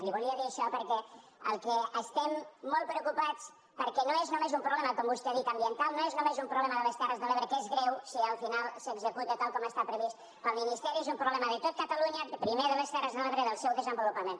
li volia dir això perquè estem molt preocupats perquè no és només un problema com vostè ha dit ambiental no és només un problema de les terres de l’ebre que és greu si al final s’executa tal com està previst pel ministeri és un problema de tot catalunya primer de les terres de l’ebre i del seu desenvolupament